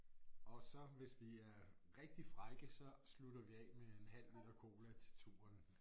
Og så hvis vi er rigtig frække så slutter vi af med en halv liter cola til turen